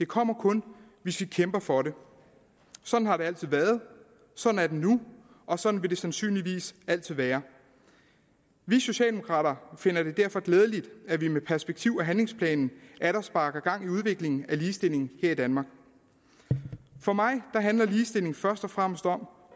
kommer kun hvis vi kæmper for den sådan har det altid været sådan er det nu og sådan vil det sandsynligvis altid være vi socialdemokrater finder det derfor glædeligt at vi med perspektiv og handlingsplanen atter sparker gang i udviklingen inden ligestilling her i danmark for mig handler ligestilling først og fremmest om